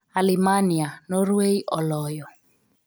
Alemania, Norway oloyo